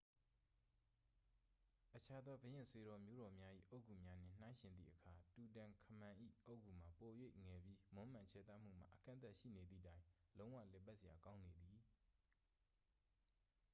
အခြားသော ဘုရင့်ဆွေတော်မျိုးတော်များ၏ အုတ်ဂူများနှင့် နှိုင်းယှဉ်သည့်အခါ တူတန်ခမန်၏ အုတ်ဂူမှာ ပို၍ငယ်ပြီး မွမ်းမံခြယ်သမှုမှာ အကန့်အသတ်ရှိနေသည့်တိုင် လုံးဝလည်ပတ်စရာကောင်းနေသည်